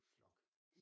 Flok